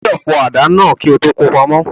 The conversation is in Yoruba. O gbọdọ̀ fọ àdá náà kí o tó ko pamọ́.